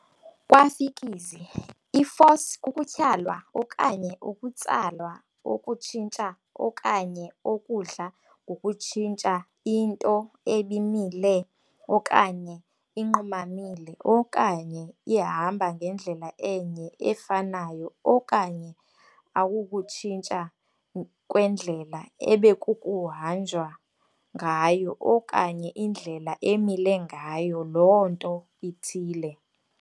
Kwa-fiziki, i-force kukutyhalwa okanye ukutsalwa okutshintsha okanye okudla ngokutshintsha into ebimile okanye inqumamile okanye ihamba ngendlela enye efanayo okanye akukutshintsha kwendlela ebekukuhanjwa ngayo okanye indlela emile ngayo loo nto ithile.